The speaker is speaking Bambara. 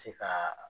Se ka